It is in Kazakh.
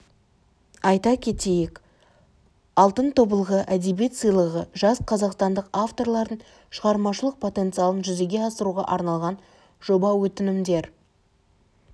айта кетейік алтын тобылғы әдебиет сыйлығы жас қазақстандық авторлардың шығармашылық потенциалын жүзеге асыруға арналған жоба өтінімдер